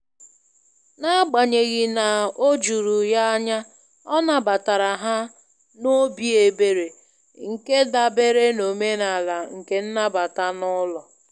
N'agbanyeghi na o juru ya anya ọ nabatara ha ha n'obi ebere, nke dabere n'omenala nke nnabata n'ụlọ.